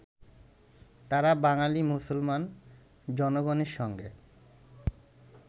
তাঁরা বাঙালী মুসলমান জনগণের সঙ্গে